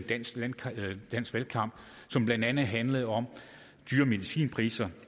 dansk valgkamp som blandt andet handlede om dyre medicinpriser